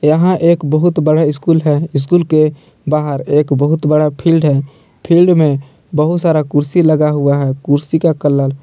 यहां एक बहुत बड़ा स्कूल है स्कूल के बाहर एक बहुत बड़ा फील्ड है फील्ड में बहुत सारा कुर्सी लगा हुआ है कुर्सी का कलर --